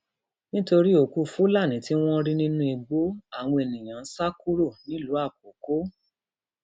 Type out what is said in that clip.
nítorí òkú fúlàní tí wọn rí nínú igbó àwọn èèyàn ń sá kúrò nílùú làkókò